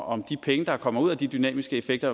om de penge der kommer ud af de dynamiske effekter